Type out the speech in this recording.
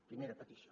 primera petició